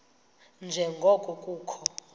nje ngoko kukho